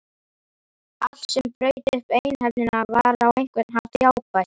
Allt sem braut upp einhæfnina var á einhvern hátt jákvætt.